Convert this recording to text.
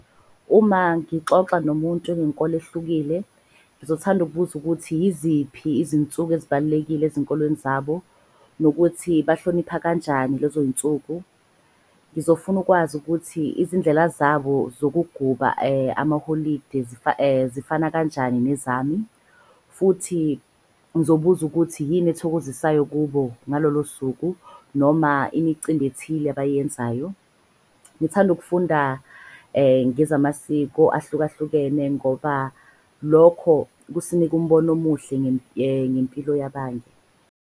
Uma ngixoxa nomuntu onenkolo ehlukile, ngizothanda ukubuza ukuthi yiziphi izinsuku ezibalulekile ezinkolweni zabo nokuthi bahlonipha kanjani lezo y'nsuku? Ngizofuna ukwazi ukuthi izindlela zabo zokuguba amaholide zifana kanjani nezami? Futhi ngizobuza ukuthi yini ethokozisayo kubo ngalolo suku noma imicimbi ethile abayenzayo? Ngithanda ukufunda ngezamasiko ahlukahlukene ngoba lokho kusinika umbono omuhle ngempilo yabanye.